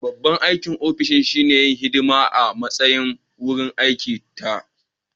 Babban aikin ofis shine yin hidima a matsayin wurin aiki da taro